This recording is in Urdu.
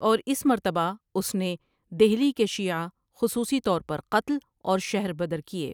اور اس مرتبہ اس نے دہلی کے شیعہ خصوصی طور پر قتل اور شہر بدرکئے۔